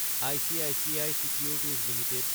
ICICI securities Ltd